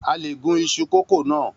A lè gún isu kókò na.